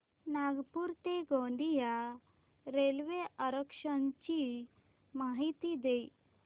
नागपूर ते गोंदिया रेल्वे आरक्षण ची माहिती दे